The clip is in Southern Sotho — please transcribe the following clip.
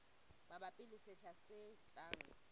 mabapi le sehla se tlang